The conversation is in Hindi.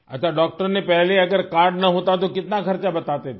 अच्छा डॉक्टर ने पहले अगर कार्ड न होता तो कितना खर्चा बताते थे